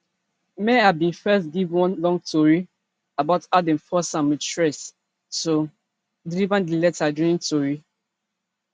meher bin first give one long tori about how dem force am wit threat to deliver di letter during tori